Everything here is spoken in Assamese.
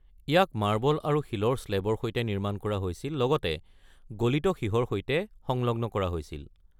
ইয়াক মাৰ্বল আৰু শিলৰ শ্লেবৰ সৈতে নিৰ্মাণ কৰা হৈছিল, লগতে গলিত সীহৰ সৈতে সংলগ্ন কৰা হৈছিল।